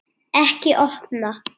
Ekki opna